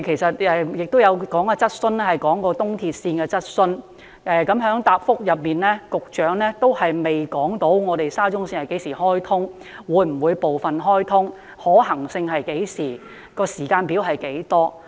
今早我們也提出了一項關於東鐵線的質詢，局長的答覆仍然未能回答沙中線何時能夠開通、會否部分開通、可行性是何時、時間表為何？